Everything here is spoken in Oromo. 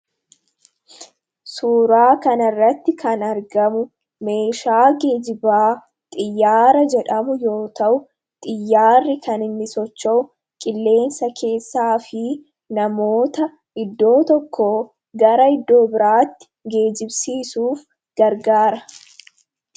Suuraa kana irratti kan argamu meeshaa geejibaa xiyyaara jedhamu yoo ta'u; Xiyyaarri kan inni socho'u qilleensa keessaa fi namoota iddoo tokkoo gara iddoo biraatti geejibsiisuuf gargaara.